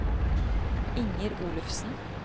Inger Olufsen